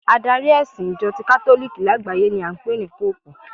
Adari ẹ̀sìn Ìjọ ti katoliki lágbàáyé ni a ń pè ní Póòpù